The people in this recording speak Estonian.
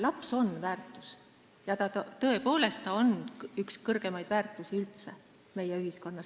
Laps on väärtus, tõepoolest, ta on üldse üks suurimaid väärtusi meie ühiskonnas.